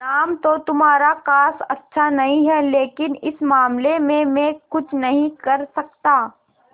नाम तो तुम्हारा खास अच्छा नहीं है लेकिन इस मामले में मैं कुछ नहीं कर सकता